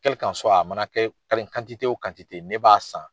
a mana kɛ o ne b'a san.